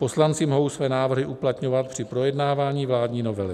Poslanci mohou své návrhy uplatňovat při projednávání vládní novely.